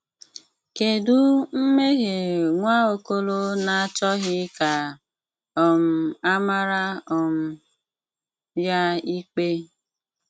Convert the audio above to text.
Kedu mmehie Nwaokolo na-achọghị ka um a mara um ya ikpe?